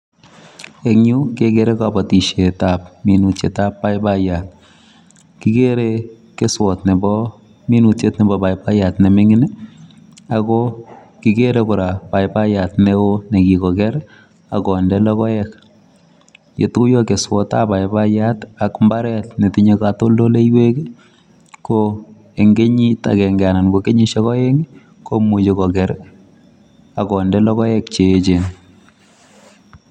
En yuu kekere kobotishetab minutyetan baibaiya kikere keswot nebo minutyet nebo baibaiya nemingin nii ako kikere Koraa baibaiya neo nekikoker ak konde lokoek. Yetuyo keswotab baibaiya ak lokoek netinye kotoldoleiwek kii ko en kenyit agenge ana ko kenyishek oengi komuche koker ak konde lokoek cheyechen.